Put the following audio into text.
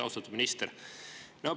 Austatud minister!